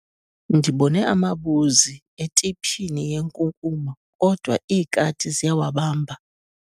Ndibone amabuzi etiphini yenkunkuma kodwa iikati ziyawabamba.